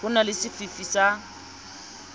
ho na le sefifi sa